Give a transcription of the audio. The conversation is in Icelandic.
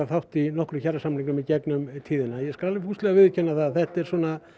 þátt í nokkrum kjarasamningum í gegn um tíðina og ég skal fúslega viðurkenna það að þetta er